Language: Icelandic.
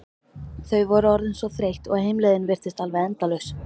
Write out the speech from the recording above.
Þau voru orðin svo þreytt og heimleiðin virtist alveg endalaus.